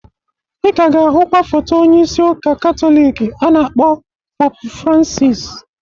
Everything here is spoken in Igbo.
Ika ga-ahụkwa foto onyeisi Ụka Katọliki a na-akpọ Popu Fransis